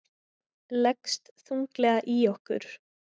Leggst þunglega í okkur